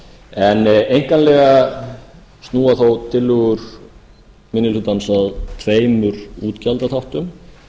en einkanlega snúa þó tillögur minni hlutans að tveimur útgjaldaþáttum